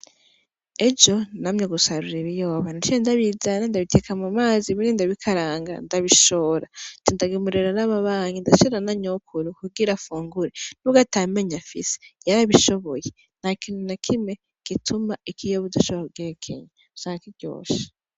Ejo namye gusarura ibiyoba, naciye ndabizana ndabiteka mu mazi ibindi ndabikaranga ndabishora. Ce ndagemurira n’ababanyi ndashira na nyokuru kugira afungure, nubwo ata menyo afise yarabishoboye nta kintu na kimwe gituma ikiyoba udashobora kugihekenya, Cari kiryoshe.